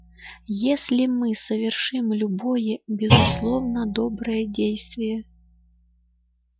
если мы совершим любое безусловно доброе действие